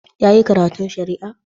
Ya yi karatu shari'a?